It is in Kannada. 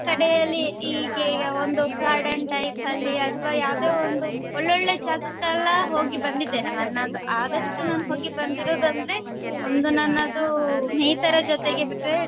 ಕಡೆಯಲಿ ಹೀಗೆ ಒಂದು garden type ಅಲ್ಲಿ ಅಥವಾ ಯಾವುದೆ ಒಂದು ಒಳ್ಳೊಳ್ಳೆ ಜಗಕ್ಕೆಲ್ಲ ಹೋಗಿ ಬಂದಿದ್ದೇನೆ ನನ್ನದು ಆದಷ್ಟು ನಾನ್ ಹೋಗಿ ಬಂದಿರ್ವದಂದ್ರೆ ಒಂದು ನನ್ನದು ಸ್ನೇಹಿತರ ಜೊತೆಗೆ ಬಿಟ್ರೆ.